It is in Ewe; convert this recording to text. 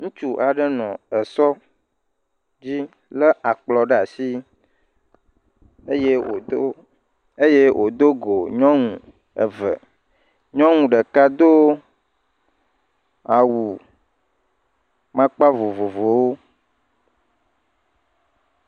Ŋutsu aɖe nɔ esɔ dzi lé akplɔ ɖe asi eye wòdo eye wòdo go nyɔnu eve, nyɔnu ɖeka do awu amakpa vovovowo.